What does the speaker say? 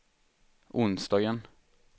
onsdagen